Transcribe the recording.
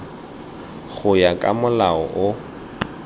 go ya ka molao o